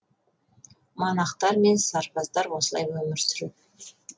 монахтар мен сарбаздар осылай өмір сүреді